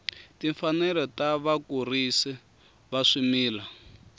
timfanelo ta vakurisi va swimila